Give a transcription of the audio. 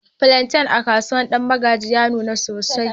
flantain a kasuwar danmagji ya nuna sosai.